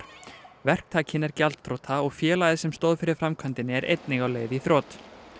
verktakinn er gjaldþrota og félagið sem stóð fyrir framkvæmdinni er einnig á leið í þrot